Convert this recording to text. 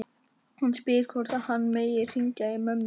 Hann spyr hvort hann megi hringja í mömmu sína.